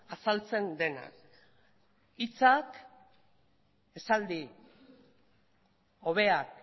azaltzen dena hitzak esaldi hobeak